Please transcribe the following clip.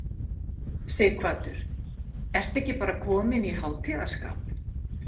Sighvatur, ertu ekki bara kominn í hátíðarskap?